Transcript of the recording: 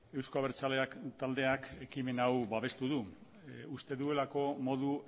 euzko abertzaleak taldeak ekimen hau babestu du uste duelako modu